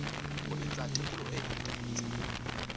ho etsa tekolo e phethahetseng